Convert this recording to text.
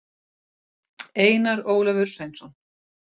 einar ólafur sveinsson